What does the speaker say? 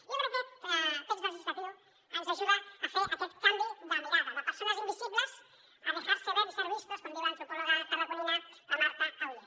i jo crec que aquest text legislatiu ens ajuda a fer aquest canvi de mirada de persones invisibles a dejarse ver y ser vistos com diu l’antropòloga tarragonina marta allué